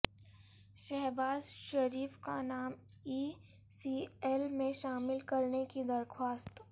شہباز شریف کا نام E C L میں شامل کرنے کی درخواست